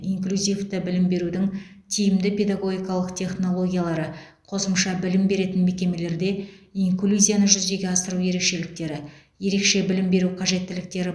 инклюзивті білім берудің тиімді педагогикалық технологиялары қосымша білім беретін мекемелерде инклюзияны жүзеге асыру ерекшеліктері ерекше білім беру қажеттіліктері